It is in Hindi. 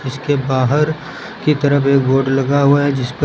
इसके बाहर की तरफ एक बोर्ड लगा हुआ है जिस पर--